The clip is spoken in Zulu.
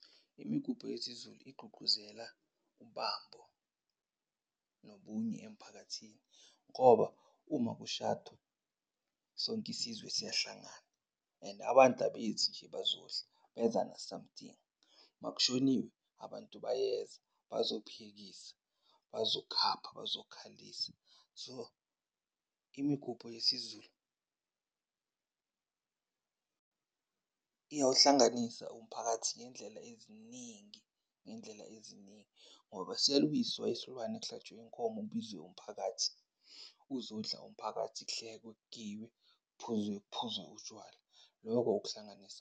Imigubho yesiZulu igqugquzela ubambo nobunye emphakathini ngoba uma kushadwa sonke isizwe siyahlangana. And abantu abezi nje bazodla beza na-something. Makushoniwe abantu bayeza bazophekisa, bazokhapha, bazokhalisa. So imigubho yesiZulu iyawuhlanganisa umphakathi ngey'ndlela eziningi ngey'ndlela eziningi ngoba siyalungiswa isilwane kuhlatshwe inkomo kubizwe umphakathi uzodla umphakathi, kuhlekwe, kugiywe, kuphuzwe kuphuzwe utshwala. Loko ukuhlanganisa.